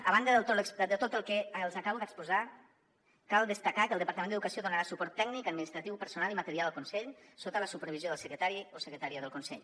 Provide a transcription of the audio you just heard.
a banda de tot el que els acabo d’exposar cal destacar que el departament d’educació donarà suport tècnic administratiu personal i material al consell sota la supervisió del secretari o secretària del consell